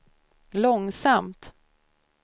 långsamt